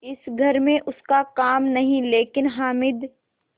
इस घर में उसका काम नहीं लेकिन हामिद